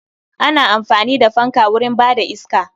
Ana amfani da fanka wurin ba da iska